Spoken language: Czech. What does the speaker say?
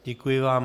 Děkuji vám.